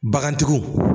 Bagantigiw